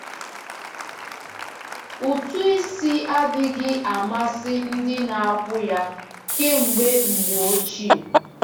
Ụtụ isi adịghị amasị ndị na-akwụ ya kemgbe mgbe ochie.